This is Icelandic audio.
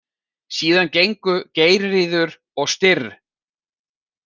Síðan gengu Geirríður og Styrr.